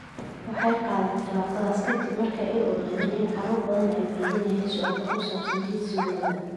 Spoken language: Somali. Waxay qaadeen tallaabadaas ka dib markii ay ogaadeen in carruur badan ay waydiinayaan su'aalo ku saabsan jinsigooda.